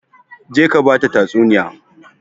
Je ka ba ta tatsuniya!